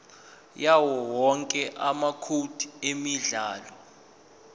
yawowonke amacode emidlalo